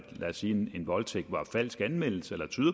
lad os sige en voldtægt var en falsk anmeldelse eller